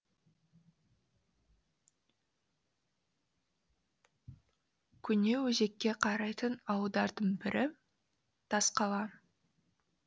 кеңөзекке қарайтын ауылдардың бірі тасқала